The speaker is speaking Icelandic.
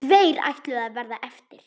Tveir ætluðu að verða eftir.